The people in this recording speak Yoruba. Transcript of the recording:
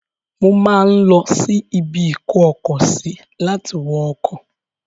Mo máa ń lọsí ibi-ìkó-ọkọ-sí láti wọ ọkọ̀.